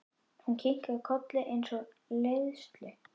Hún kinkar kolli eins og í leiðslu.